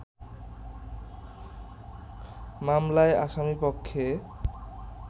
মামলায় আসামিপক্ষে